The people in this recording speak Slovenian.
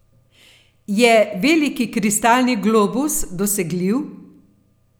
Je veliki kristalni globus dosegljiv?